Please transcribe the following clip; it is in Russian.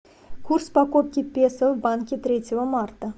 курс покупки песо в банке третьего марта